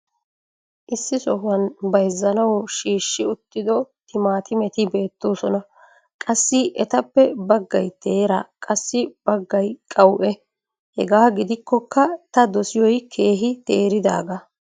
issi sohuwan bayzzanawu shiishshi uttido timaatimetti beetosona. qassi etappe bagay teera qassi bagay qawue. hegaa gidikkokka ta dosiyoy keehi teeridaagaa.